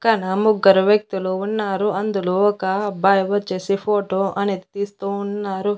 పక్కన ముగ్గరు వ్యక్తులు ఉన్నారు అందులో ఒక అబ్బాయి వచ్చేసి ఫోటో అనేది తీస్తూ ఉన్నారు.